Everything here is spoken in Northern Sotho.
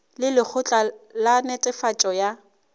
le lekgotla la netefatšo ya